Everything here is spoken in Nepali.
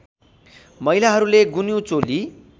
महिलाहरूले गुन्यू चोली